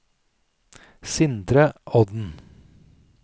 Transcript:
Sindre Odden